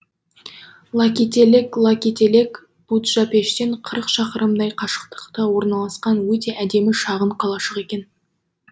лакителек лакителек буджапештен қырық шақырымдай қашықтықта орналасқан өте әдемі шағын қалашық екен